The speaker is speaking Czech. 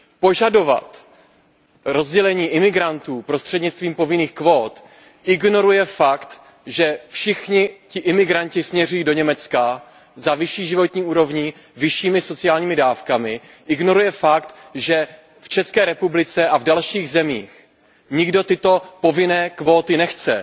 Požadovat rozdělení uprchlíků prostřednictvím povinných kvót ignoruje fakt, že všichni ti uprchlíci směřují do Německa za vyšší životní úrovní, vyššími sociálními dávkami, ignoruje fakt, že v České republice a v dalších zemích nikdo tyto povinné kvóty nechce.